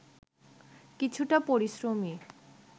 কিছুটা পরিশ্রমী